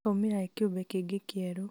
akaumĩra e kĩũmbe kĩngĩ kĩeru